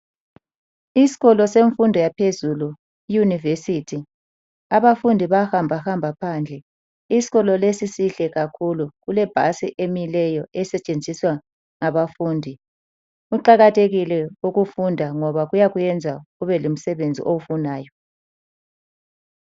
Isikolo semfundo yaphezulu iYunivesithi. Abafundi bayahambahamba phandle. Isikolo lesi sihle kakhulu. Kulebhasi emileyo esetshenziswa ngabafundi. Kuqakathekile ukufunda ngoba kuyakwenza ubelomsebenzi owufunayo.